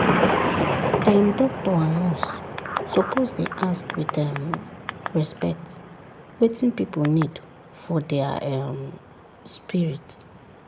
dem doctor and nurse suppose dey ask with um respect wetin pipu need for dia um spirit.